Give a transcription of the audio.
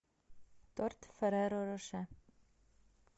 торт ферреро роше